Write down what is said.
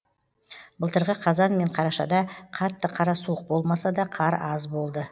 былтырғы қазан мен қарашада қатты қара суық болмаса да қар аз болды